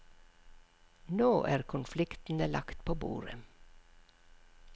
Nå er konfliktene lagt på bordet.